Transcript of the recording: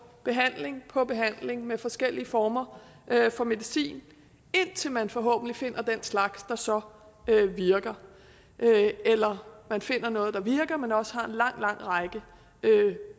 behandling på behandling med forskellige former for medicin indtil man forhåbentlig finder den slags der så virker eller man finder noget der virker men også har en lang lang række